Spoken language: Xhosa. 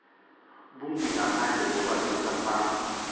bumbi ngaphandle kobasefama